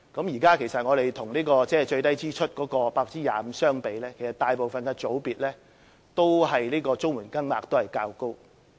現在與最低支出的 25% 相比，其實在大部分的組別都是綜援金額較高。